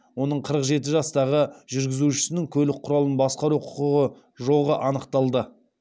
оның қырық жеті жастағы жүргізушісінің көлік құралын басқару құқығы жоғы анықталды